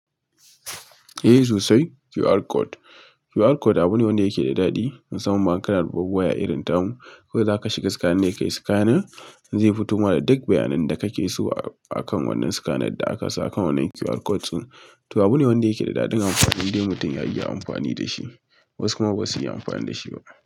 Eh sosai, QR code. QR code abu ne wanda yake da daɗi, musamman in kana da babbar waya irin tamu. Ko za ka shiga scanner ne kai scanning zai fito ma da duk bayanan da kake so akan wannan scanner da aka sa akan wannan QR code din. To abu ne wanda yake da daɗin amfani indai mutum ya iya amfani da shi. Wasu kuma ba su iya amfani da shi ba.